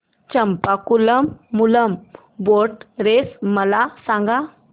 Champakulam Moolam boat race मला सांग